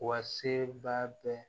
Wa seba bɛ